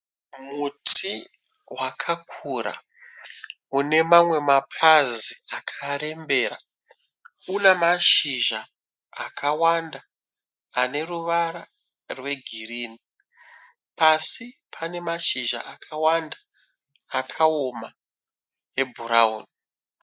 Muti wakakura unemamwe mapazi akarembera, unamashizha akawanda aneruvara rwegirini. Pasi panemashizha akawanda akaoma ebhurauni.